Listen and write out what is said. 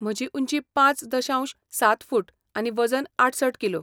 म्हजी उंची पांच दशांश सात फूट आनी वजन आठसठ किलो.